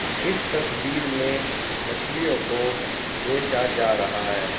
इस तस्वीर में मछलियों को बेचा जा रहा है।